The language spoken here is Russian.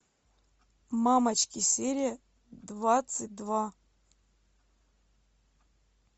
мамочки серия двадцать два